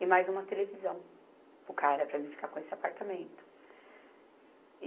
E mais uma televisão para o cara, para mim ficar com esse apartamento. E